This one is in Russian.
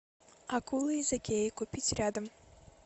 акула из икеи купить рядом